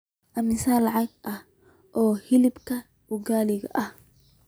Immisa lacag ah oo hilibka ugaali ah?